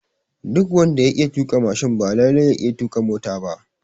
Duk wanda ya iya tuƙa mashin ba lalle ya iya tuƙa mota ba